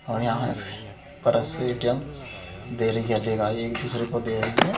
और यहाँ परस ए.टी.एम. दे रही है। ले गाली एक दूसरे को दे रही है।